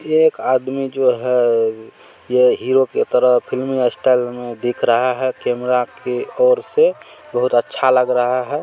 एक आदमी जो है ये हीरो की तरह फिल्मी स्टाइल में दिख रहा है कैमरा की ओर से बहोत अच्छा लग रहा है।